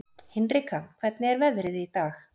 Hinrika, hvernig er veðrið í dag?